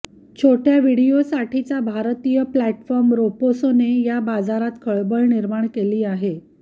छोट्या व्हिडिओसाठीचा भारतीय प्लॅटफॉर्म रोपोसोने या बाजारात खळबळ निर्माण केली आहे